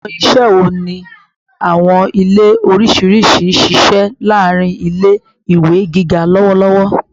Awọn iṣẹ wo ni awọn ile oriṣiriṣi n ṣiṣẹ laarin ile-iwe giga lọwọlọwọ?